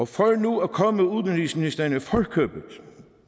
for nu at komme udenrigsministeren i forkøbet